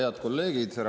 Head kolleegid!